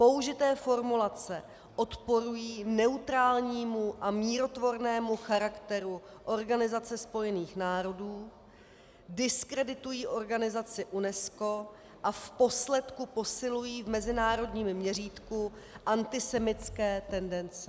Použité formulace odporují neutrálnímu a mírotvornému charakteru Organizace spojených národů, diskreditují organizaci UNESCO a v posledku posilují v mezinárodním měřítku antisemitské tendence.